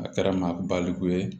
A kɛra n ma baliku ye